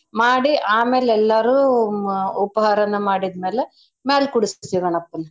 ಮಾಡಿ ಆಮೇಲ್ ಎಲ್ಲಾರೂ ಉಪಹಾರನ ಮಾಡಿದ್ಮೇಲೆ ಮ್ಯಾಲ್ ಕೂಡುಸ್ತೀವ್ ಗಣಪನ್.